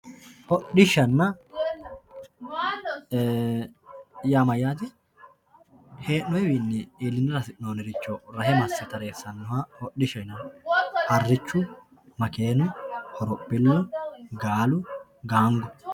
hodhishshanna yaa mayyate hee'noonniwiinni iillinara hasi'noonniwa rahe masse tareessannoha hodhishshaho yinanni harrichu makeennu horophillu gaalu gaango.